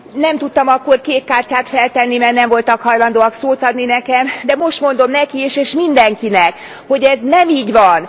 Nem tudtam akkor kékkártyát feltenni, mert nem voltak hajlandóak szót adni nekem, de most mondom neki is és mindenkinek, hogy ez nem így van.